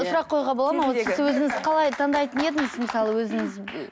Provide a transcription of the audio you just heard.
сұрақ қоюға бола ма сіз өзіңіз қалай таңдайтын едіңіз мысалы өзіңіз